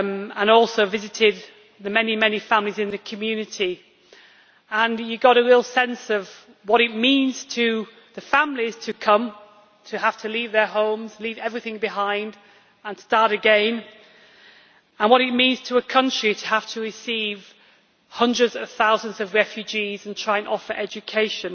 I also visited some of the many families in the community and I got a real sense of what it means to the families who come to have to leave their homes and everything else behind and to start again, and also of what it means to a country to have to receive hundreds of thousands of refugees and try and offer education.